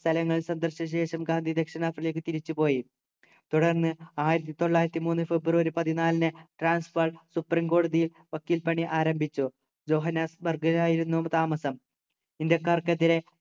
സ്ഥലങ്ങൾ സന്ദർശിച്ച ശേഷം ഗാന്ധി ദക്ഷിണാഫ്രിക്കയിലേക്ക് തിരിച്ചു പോയി തുടർന്ന് ആയിരത്തി തൊള്ളായിരത്തി മൂന്നു ഫെബ്രുവരി പതിനാലിന് ട്രാൻസ്പാർക് കോടതിയിൽ വക്കീൽപണി ആരംഭിച്ചു ജോഹന്നാസ്ബർഗിലായിരുന്നു താമസം ഇന്ത്യക്കാർക്കെതിരെ